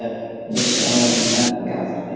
Við sjáum ekki allt fyrir.